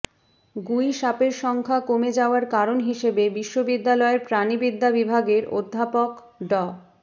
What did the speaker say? গুইসাপের সংখ্যা কমে যাওয়ার কারণ হিসেবে বিশ্ববিদ্যালয়ের প্রাণিবিদ্যা বিভাগের অধ্যাপক ড